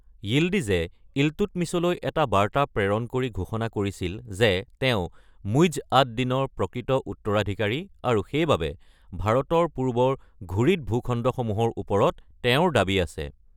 য়িল্ডিজে ইলটুটমিছলৈ এটা বাৰ্তা প্ৰেৰণ কৰি ঘোষণা কৰিছিল যে তেওঁ মুইজ্জ আদ-দিনৰ প্ৰকৃত উত্তৰাধিকাৰী আৰু সেইবাবে, ভাৰতৰ পূৰ্বৰ ঘুৰিদ ভূখণ্ডসমূহৰ ওপৰত তেওঁৰ দাবী আছে।